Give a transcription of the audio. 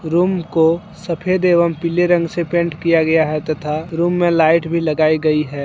Room को सफेद एवं पीले रंग से पेंट किया गया है तथा रूम में लाइट भी लगाई गई है।